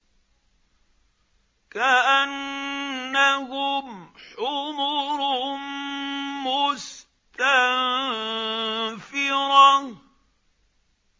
كَأَنَّهُمْ حُمُرٌ مُّسْتَنفِرَةٌ